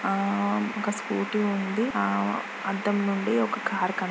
ఒక స్కూటీ ఉండి . అద్దం నుండి కార్ కన్పిస్తుంది.